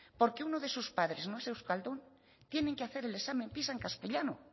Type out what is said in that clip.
porque uno de sus padres no es euskaldun tienen que hacer el examen pisa en castellano